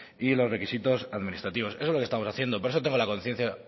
y los requisitos administrativos eso es lo que estamos haciendo por eso tengo la conciencia